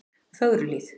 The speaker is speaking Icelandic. Fögruhlíð